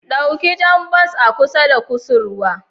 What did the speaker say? Dauki jan bas a kusa da kusurwa.